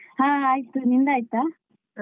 ಹಾ ಆಯ್ತು ನಿಂದಾಯ್ತ?